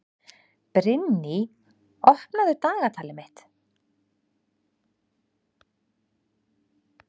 Brynný, opnaðu dagatalið mitt.